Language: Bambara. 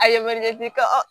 A yamaruya i ka